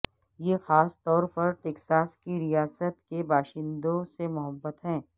یہ خاص طور پر ٹیکساس کی ریاست کے باشندوں سے محبت ہے